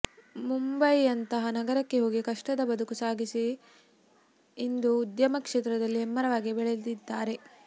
ಮುಂಬಯಿಯಂತಹ ನಗರಕ್ಕೆ ಹೋಗಿ ಕಷ್ಟದ ಬದುಕು ಸಾಗಿಸಿ ಇಂದು ಉದ್ಯಮ ಕ್ಷೇತ್ರದಲ್ಲಿ ಹೆಮ್ಮರವಾಗಿ ಬೆಳೆದಿದ್ದಾರೆ